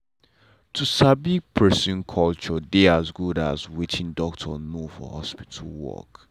to sabi person culture dey as good as wetin doctor know for hospital work.